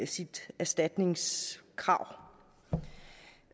sit erstatningskrav